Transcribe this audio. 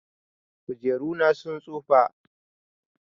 Kujeru na sun tsufa.